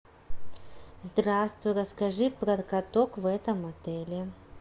здравствуй расскажи про каток в этом отеле